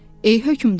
Ey hökmdar.